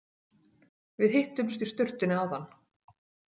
Við hittumst í sturtunni áðan.